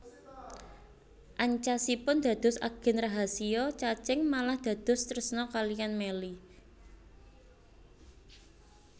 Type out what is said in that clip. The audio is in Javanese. Ancasipun dados agen rahasiya Cacing malah dados tresna kaliyan Melly